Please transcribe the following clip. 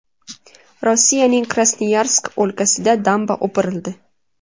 Rossiyaning Krasnoyarsk o‘lkasida damba o‘pirildi.